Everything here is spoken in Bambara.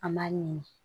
An b'a ɲini